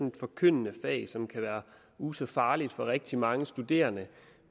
et forkyndende fag som kan være uh så farligt for rigtig mange studerende